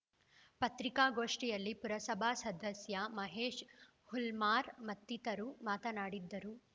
ಪತ್ರಿಕಾಗೋಷ್ಠಿಯಲ್ಲಿ ಪುರಸಭಾ ಸದಸ್ಯ ಮಹೇಶ್‌ ಹುಲ್ಮಾರ್‌ ಮತ್ತಿತರರು ಮಾತನಾಡಿದರು